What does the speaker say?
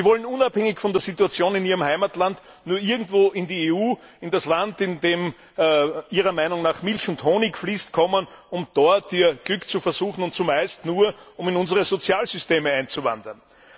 Sie wollen unabhängig von der Situation in ihrem Heimatland nur irgendwo in die EU, in das Land, in dem ihrer Meinung nach Milch und Honig fließen, um dort ihr Glück zu versuchen, und zumeist nur, um in unsere Sozialsysteme einzuwandern.